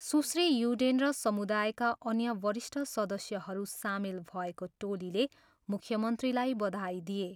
सुश्री युडेन र समुदायका अन्य वरिष्ठ सदस्यहरू सामेल भएको टोलीले मुख्यमन्त्रीलाई बधाई दिए।